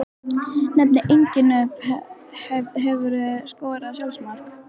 Nefni engin nöfn Hefurðu skorað sjálfsmark?